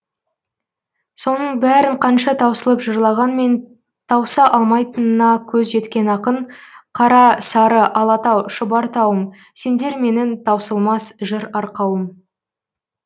соның бәрін қанша таусылып жырлағанмен тауса алмайтынына көзі жеткен ақын қара сары алатау шұбар тауым сендер менің таусылмас жыр арқауым